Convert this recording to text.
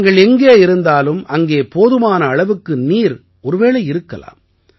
நீங்கள் எங்கே இருந்தாலும் அங்கே போதுமான அளவுக்கு நீர் ஒருவேளை இருக்கலாம்